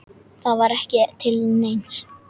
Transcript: Það var ekki til neins.